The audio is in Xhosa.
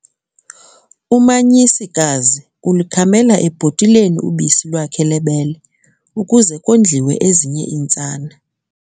Umanyisikazi ulukhamela ebhotileni ubisi lwakhe lwebele ukuze kondliwe ezinye iintsana.